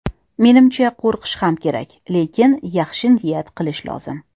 Menimcha, qo‘rqish ham kerak, lekin yaxshi niyat qilish lozim.